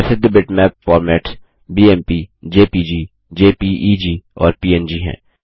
प्रसिद्ध bitmap formats BMP JPG JPEG और PNG हैं